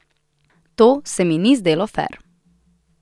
To se mi ni zdelo fer.